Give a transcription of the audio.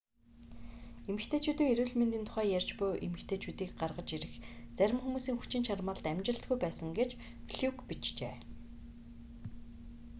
эмэгтэйчүүдийн эрүүл мэндийн тухай ярьж буй эмэгтэйчүүдийг гаргаж ирэх зарим хүмүүсийн хүчин чармайлт амжилтгүй байсан гэж флюк бичжээ